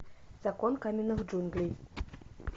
закон каменных джунглей